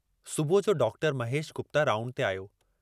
सुबुह जो doctor Mahesh Gupta round ते आयो।